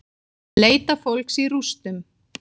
Leita fólks í rústum